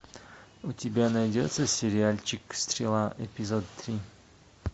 у тебя найдется сериальчик стрела эпизод три